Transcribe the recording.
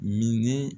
Mini